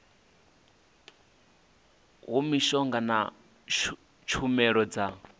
ha mishonga na tshumelo dza